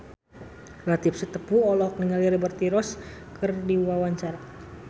Latief Sitepu olohok ningali Liberty Ross keur diwawancara